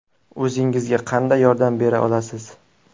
O‘zingizga qanday yordam bera olasiz?